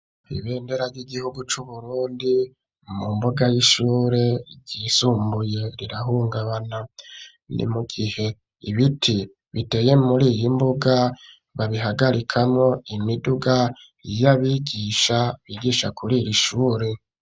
Ibendera ry'igihugu cu Burundi mu mbuga y'ishure ryisumbuye rirahungabana ni mugihe ibiti biteye muriyi mbuga babihagarikamwo imiduga y'abigisha bigisha kuriri shure